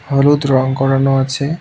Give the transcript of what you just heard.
হলুদ রং করানো আছে।